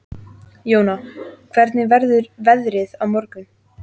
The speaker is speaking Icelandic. Jóna, hvernig verður veðrið á morgun?